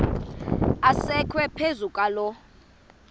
asekwe phezu kwaloo